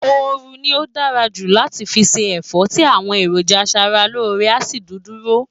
ooru ni ó dára jù láti fi se ẹ̀fọ́ tí àwọn èròjà aṣara lóore a sì dúdúró